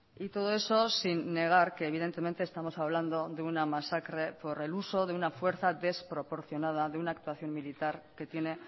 y todo eso sin negar que evidentemente estamos hablando de una masacre por el uso de una fuerza desproporcionada de una actuación militar que tiene